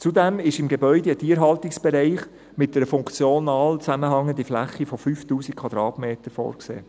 Zudem ist im Gebäude ein Tierhaltungsbereich mit einer funktional zusammenhängenden Fläche von 5000 Quadratmetern vorgesehen.